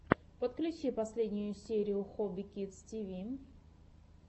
подключи последнюю серию хобби кидс ти ви